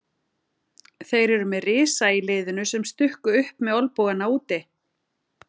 Þeir eru með risa í liðinu sem stukku upp með olnbogana úti.